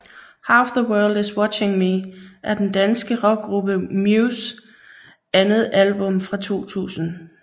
Half The World is Watching Me er den danske rockgruppe Mews andet album fra 2000